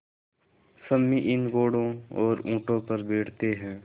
सम्मी इन घोड़ों और ऊँटों पर बैठते हैं